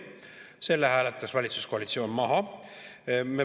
Selle hääletas valitsuskoalitsioon maha.